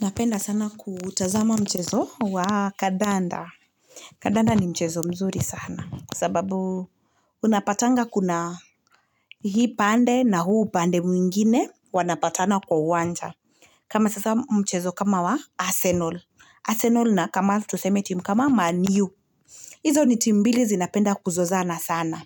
Napenda sana kutazama mchezo wa kadanda. Kadanda ni mchezo mzuri sana. Kwa sababu unapatanga kuna hii pande na huu pande mwingine wanapatana kwa uwanja. Kama sasa mchezo kama wa arsenal. Arsenal na kama tuseme timu kama manu. Izo ni timu mbili zinapenda kuzozana sana.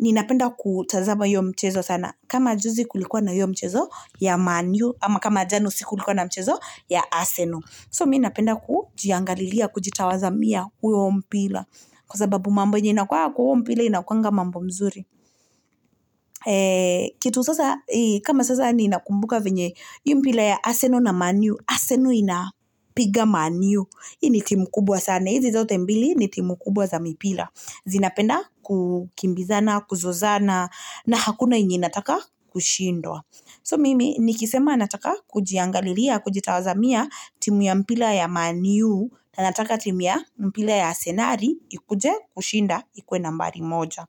Ninapenda kutazama hiyo mchezo sana. Kama juzi kulikuwa na yu mchezo ya manu. Ama kama jana siku kulikuwa na mchezo ya arsenal. So mimi napenda kujiangalia ya kujitazamia hiyo mpira. Kwa sababu mambo inakuwanga kwa huo mpira inakuwanga mambo mzuri. Kitu sasa, kama sasa ninakumbuka venye. Hii mpira ya arsenal na manu. Arsenal inapiga manu. Hii ni timu kubwa sana. Hizi zote mbili ni timu kubwa za mpira. Zinapenda kukimbizana, kuzozana. Na hakuna yenye inataka kushindwa. So mimi nikisema nataka kujiangalia ya kujitazamia ya timu ya mpira ya manu. Na nataka timu ya mpira ya asenali. Ikuje kushinda, ikuwe nambari moja.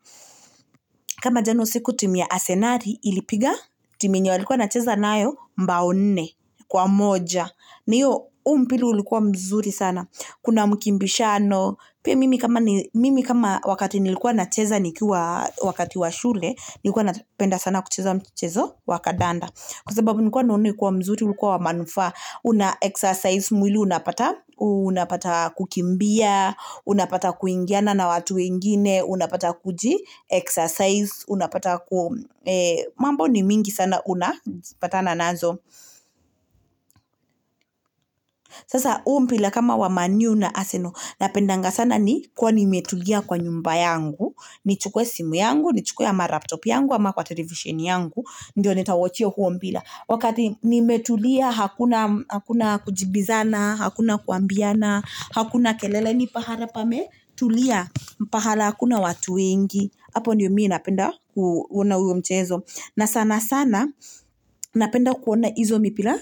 Kama jana usiku timbilia asenali ilipiga. Timu yenye walikuwa wanacheza nayo mbao nne. Kwa moja. Huu mpira ilikuwa mzuri sana. Kuna mkimbishano. Pia mimi wakati nilikuwa nacheza shuleni. Nilikuwa napenda sana kucheza mchezo wa kadanda. Kwa sababu nilikuwa naona ikiwa mzuri, ili kuwa wa manufaa. Una-exercise mwili. Unapata kukimbia. Unapata kuingiana na watu wengine. Unapata kuji-exercise. Unapata mambo ni mingi sana unapatana nazo. Sasa huu mpira kama wa manu na arsenal. Napendanga sana nikiwa nimetulia kwa nyumba yangu. Nichukuwe simu yangu. Nichukuwe ama laptop yangu. Ama kwa television yangu. Ndiyo nita-watch huo mpira. Wakati nimetulia hakuna kujibizana. Hakuna kuambiana. Hakuna kelele ni pahali pame. Tulia. Pahali hakuna watu wengi. Apo ndiyo mimi napenda kuona huo mchezo. Na sanasana. Napenda kuona hizo mpira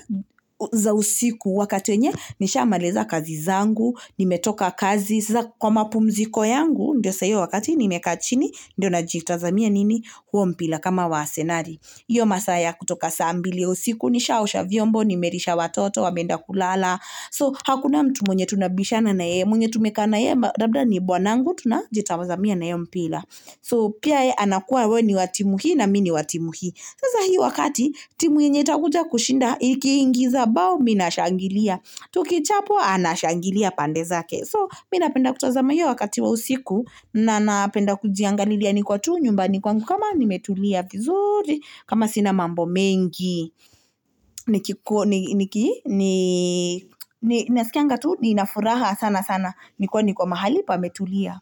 za usiku wakati wenye. Nishamaliza kazi zangu. Nimetoka kazi. Kwa mapumziko yangu. Ndiyo sa hiia yniyeu wakati ni mekachini. Ndiyo najitazamia nini huo mpira kama wa asenali. Hiyo masaa kutoka saa mbili usiku. Nishaosha vyombo nimelisha watoto wamenda kulala. So hakuna mtu mwenye tunabishana na yeye. Mwenye tumekaa na yeye. Labda ni bwanangu. Tunajitazamia hiyo mpira. So pia yeye anakuwa wewe ni wa timu hii na mimi ni wa timu hii. Sasa hii wakati timu yenye itakujakushinda. Iki ingiza bao, mimi nashangilia. Tukichapwa anashangilia pande zake. So, mimi napenda kutazama hiyo wakati wa usiku na napenda kujiangalia niko tu nyumbani kwangu kama nimetulia vizuri, kama sina mambo mengi. Nasikianga tu ninafuraha sanasana. Ni kuwe niko mahali pame tulia.